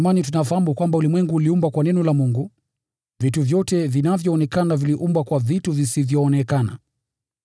Kwa imani tunafahamu kwamba ulimwengu uliumbwa kwa neno la Mungu, vitu vyote vinavyoonekana havikuumbwa kutoka kwa vitu vinavyoonekana.